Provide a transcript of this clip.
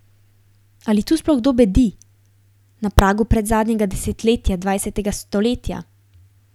Ali tu sploh kdo bedi, na pragu predzadnjega desetletja dvajsetega stoletja?